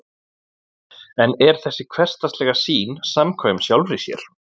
en er þessi hversdagslega sýn samkvæm sjálfri sér